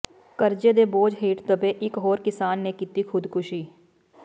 ਕਰਜ਼ੇ ਦੇ ਬੋਝ ਹੇਠ ਦੱਬੇ ਇਕ ਹੋਰ ਕਿਸਾਨ ਨੇ ਕੀਤੀ ਖ਼ੁਦਕੁਸ਼ੀ